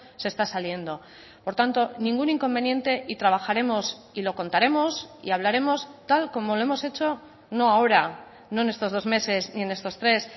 se está saliendo por tanto ningún inconveniente y trabajaremos y lo contaremos y hablaremos tal como lo hemos hecho no ahora no en estos dos meses y en estos tres